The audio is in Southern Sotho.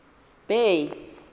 bay